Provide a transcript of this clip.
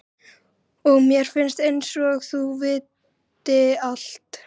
Og mér finnst einsog þau viti allt.